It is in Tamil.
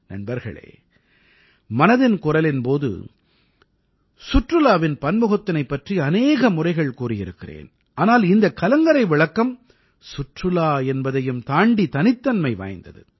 நண்பர்களே மனதின் குரலின் போது சுற்றுலாவின் பன்முகத்தினைப் பற்றி அநேக முறைகள் கூறியிருக்கிறேன் ஆனால் இந்தக் கலங்கரை விளக்கம் சுற்றுலா என்பதையும் தாண்டி தனித்தன்மை வாய்ந்தது